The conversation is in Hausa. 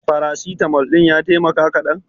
Farasitamol ɗin ya taimaka kaɗan?